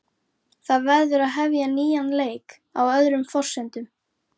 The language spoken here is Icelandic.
Það verður að hefja nýjan leik, á öðrum forsendum.